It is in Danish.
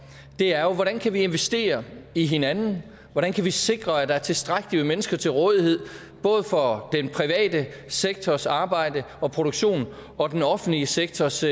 er hvordan vi kan investere i hinanden hvordan vi kan sikre at der er tilstrækkeligt med mennesker til rådighed både for den private sektors arbejde og produktion og den offentlige sektors